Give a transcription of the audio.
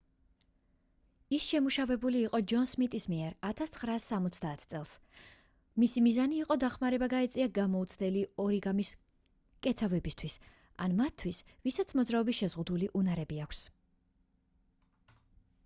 ის შემუშავებული იყო ჯონ სმიტის მიერ 1970 წელს მისი მიზანი იყო დახმარება გაეწია გამოუცდელი ორიგამის მკეცავებისთვის ან მათთვის ვისაც მოძრაობის შეზღუდული უნარები აქვს